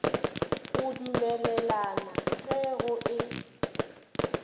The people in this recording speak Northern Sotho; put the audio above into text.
go dumelelana ge go e